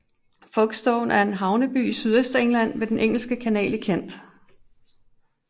Folkestone er en havneby i Sydøstengland ved den Engelske Kanal i Kent